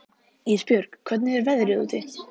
Ísbjörg, hvernig er veðrið úti?